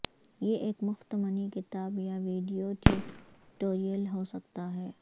یہ ایک مفت منی کتاب یا ویڈیو ٹیوٹوریل ہو سکتا ہے